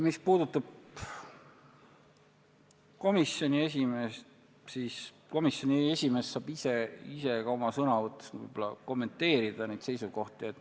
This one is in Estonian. Mis puudutab komisjoni esimeest, siis tema saab neid seisukohti oma sõnavõtus võib-olla ka ise kommenteerida.